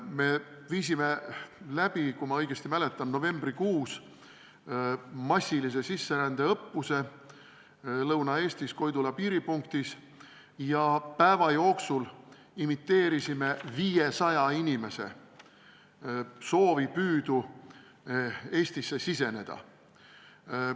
Me viisime läbi, kui ma õigesti mäletan, novembrikuus massilise sisserände õppuse Lõuna-Eestis Koidula piiripunktis ja päeva jooksul imiteerisime olukorda, kus 500 inimest soovis Eestisse siseneda.